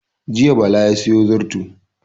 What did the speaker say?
Jiya Bala ya sayo zarto